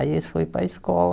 Aí eles foram para a escola.